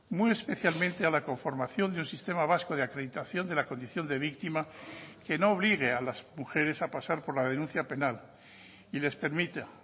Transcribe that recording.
muy especialmente a la conformación de un sistema vasco de acreditación de la condición de víctima que no obligue a las mujeres a pasar por la denuncia penal y les permita